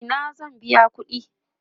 a Ina zan biya ƙuɗi?